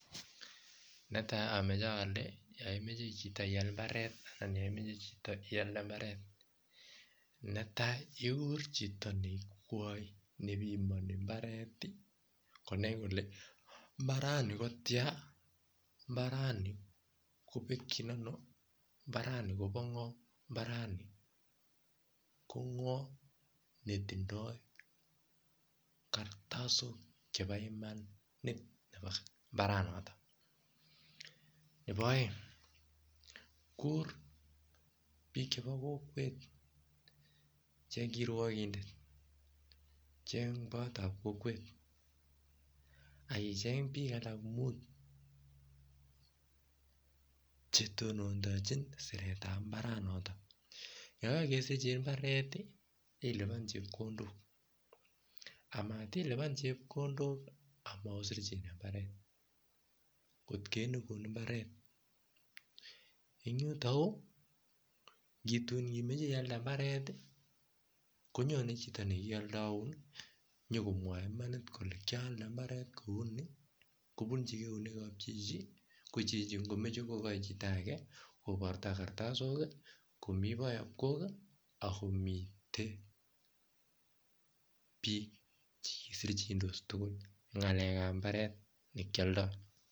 Netai yaimeche iyal ana iyalde ikuree chito nepimani akenai kelee ngo netindoi kartasok chepoo mbaret notok ketur koraa bik ab kokwet kirwakindet bayamkok kesirei mbaret atya ilipan chepkondok